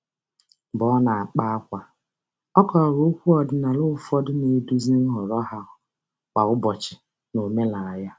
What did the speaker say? Mgbe ọ na-akpa ákwà, ọ kọwara okwu ọdịnala ụfọdụ na-eduzi nhọrọ ha kwa ụbọchị n'omenala ya.